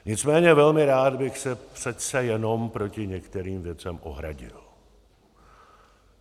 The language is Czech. Nicméně velmi rád bych se přece jenom proti některým věcem ohradil.